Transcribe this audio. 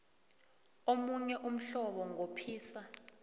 omunye umhlobo nqophisa